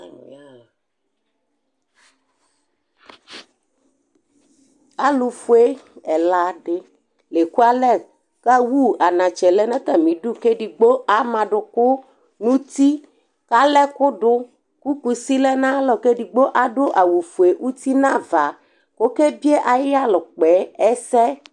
Alʋ yaɣa la Alʋfue ɛla dɩ la ekualɛ kʋ awu anatsɛ lɛ nʋ atamɩdu kʋ edigbo ama adʋkʋ nʋ uti kʋ ala ɛkʋ dʋ kʋ kusi lɛ nʋ ayalɔ kʋ edigbo adʋ awʋfue uti nʋ ava kʋ ɔkebie ayʋ ɩyalɛ ʋkpa yɛ ɛsɛ